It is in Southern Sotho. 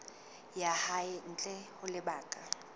ya hae ntle ho lebaka